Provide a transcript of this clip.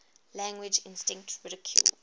language instinct ridiculed